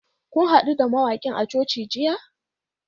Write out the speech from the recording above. Kun hadu da mawakin a coci jiya?